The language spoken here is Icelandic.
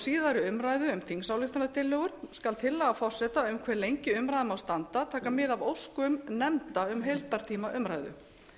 síðari umræðu um þingsályktunartillögur skal tillaga forseta um hve lengi umræðan má standa taka mið af óskum nefnda um heildartíma umræðu